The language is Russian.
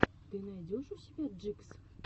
ты найдешь у себя джикс